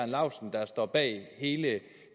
laustsen der står bag hele